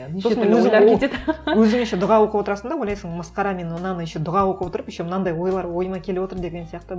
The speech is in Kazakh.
өзің еще дұға оқып отырасың да ойлайсың масқара мен мынаны еще дұға оқып отырып еще мынандай ойлар ойыма келіп отыр деген сияқты